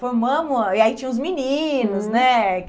Formamos, e aí tinha os meninos, né?